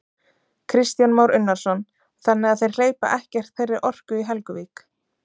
Kristján Már Unnarsson: Þannig að þeir hleypa ekkert þeirri orku í Helguvík?